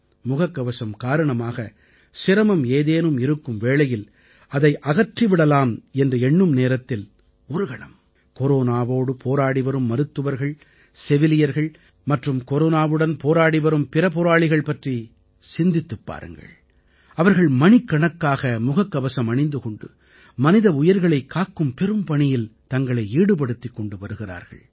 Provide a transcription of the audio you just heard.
முகக்கவசம் காரணமாக சிரமம் ஏதேனும் இருக்கும் வேளையில் அதை அகற்றி விடலாம் என்று எண்ணும் நேரத்தில் ஒரு கணம் கொரோனாவோடு போராடிவரும் மருத்துவர்கள் செவிலியர்கள் மற்றும் கொரோனாவுடன் போராடிவரும் பிற போராளிகள் பற்றி சிந்தித்துப் பாருங்கள் அவர்கள் மணிக்கணக்காக முகக்கவசம் அணிந்து கொண்டு மனித உயிர்களைக் காக்கும் பெரும்பணியில் தங்களை ஈடுபடுத்திக் கொண்டு வருகிறார்கள்